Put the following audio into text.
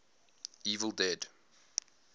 evil dead